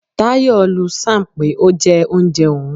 Tayo lu Sam pé ó jẹ oúnjẹ òun.